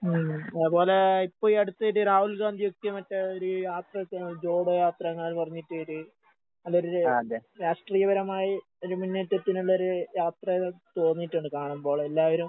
ഉം അതേപോലെ ഇപ്പ ഈ അടുത്ത് ഇത് രാഹുൽ ഗാന്ധി എത്തി മറ്റേ ഒര് യാത്ര ഒക്കെ ജോഡോ യാത്ര അങ്ങനെ പറഞ്ഞിട്ടൊര് അവര് രാഷ്ട്രീയപരമായി ഒരു മുന്നേറ്റത്തിനുള്ളൊരു യാത്രയായി തോന്നീട്ടൊണ്ട് കാണുമ്പോള്. എല്ലാവരും